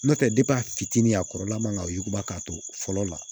N'o tɛ a fitinin a kɔrɔla man ka yuguba k'a to fɔlɔ la